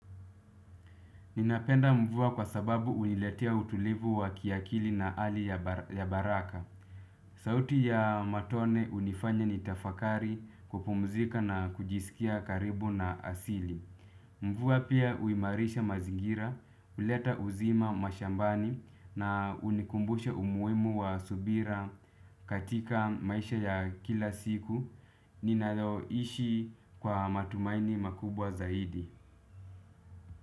Ninapenda mvua kwa sababu huniletea utulivu wa kiakili na ari ya baraka. Sauti ya matone hunifanya nitafakari kupumzika na kujisikia karibu na asili. Mvua pia huimarisha mazingira, huleta uzima mashambani na hunikumbusha umuhimu wa subira katika maisha ya kila siku. Ninaloishi kwa matumaini makubwa zaidi.